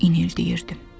İnildəyirdim.